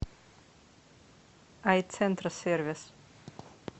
айцентрсервис